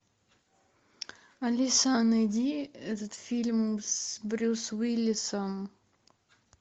алиса найди этот фильм с брюс уиллисом